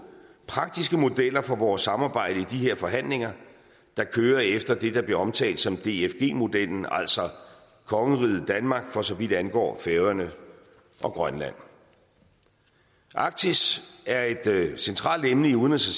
praktiske modeller for vores samarbejde i de her forhandlinger der kører efter det der bliver omtalt som dfg modellen altså kongeriget danmark for så vidt angår færøerne og grønland arktis er et centralt emne i udenrigs